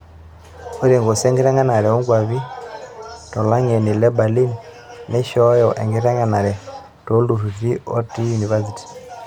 Ore nkosi enkitengenare onkwapi tolangeni le Berlin neishoyo enkitengenare toltururi ote univesity.